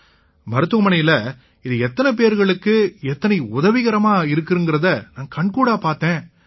மருத்துவமனையிலேயே இது எத்தனை பேர்களுக்கு எத்தனை உதவிகரமா இருக்குங்கறதை நான் கண்கூடா பார்த்தேன்யா